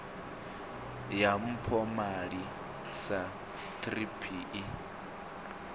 ya mpomali sa thrip i